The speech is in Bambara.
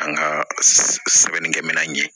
An ka sɛbɛnnikɛminɛn ye